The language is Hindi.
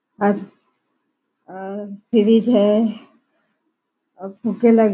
अब अम फ्रिज है और लगा --